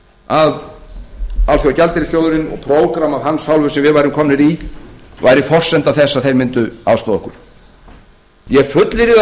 að alþjóðagjaldeyrissjóðurinn og prógramm af hans hálfu sem við værum komnir í væri forsenda þess að þeir mundu aðstoða okkar ég fullyrði það hér